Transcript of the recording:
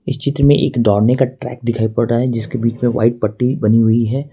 इस चित्र में एक दौड़ने का ट्रैक दिखाई पड़ रहा है जिसके बीच में व्हाइट पट्टी बनी हुई है।